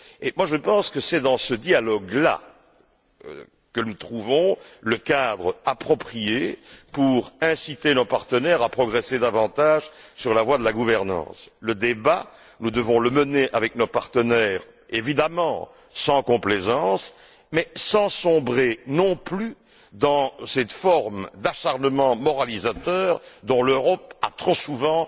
Et je pense que c'est dans ce dialogue là que nous trouverons le cadre approprié pour inciter nos partenaires à progresser davantage sur la voie de la gouvernance. Le débat, nous devons le mener avec nos partenaires, évidemment, sans complaisance, mais sans sombrer, non plus, dans cette forme d'acharnement moralisateur dont l'Europe a trop souvent